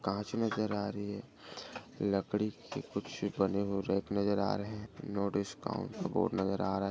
कांच नजर आ रही हैं। लकड़ी के कुछ बने रैक नजर आ रहे हैं। नो-डिस्काउंट बोर्ड नजर आ रहा हैं।